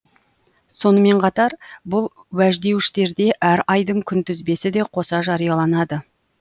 сонымен қатар бұл уәждеуіштерде әр айдың күнтізбесі де қоса жарияланады